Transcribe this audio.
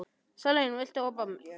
Salín, viltu hoppa með mér?